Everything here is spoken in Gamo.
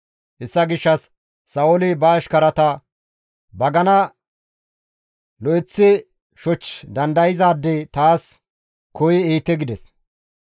Hessa gishshas Sa7ooli ba ashkarata, «Bagana lo7eththi shoch dandayzaade taas koyi ehite» gides.